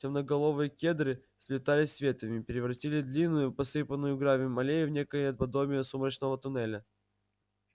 темноголовые кедры сплетаясь ветвями превратили длинную посыпанную гравием аллею в некое подобие сумрачного туннеля